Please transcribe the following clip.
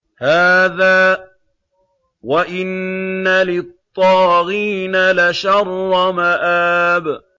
هَٰذَا ۚ وَإِنَّ لِلطَّاغِينَ لَشَرَّ مَآبٍ